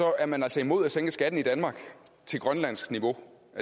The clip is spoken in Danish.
er man altså imod at sænke skatten i danmark til grønlandsk niveau